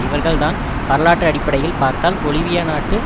இவர்கள் தான் வரலாற்று அடிப்படையில் பார்த்தால் பொலிவியா நாட்டு